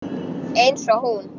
Eins og hún.